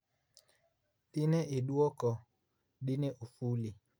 dine idwoko dine ofuli?